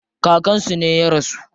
Kakan su ne ya rasu.